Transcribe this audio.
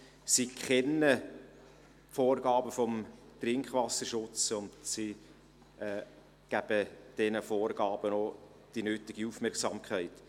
Sie kennen die Vorgaben des Trinkwasserschutzes und sie geben diesen Vorgaben auch die nötige Aufmerksamkeit.